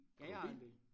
Ja jeg har en bil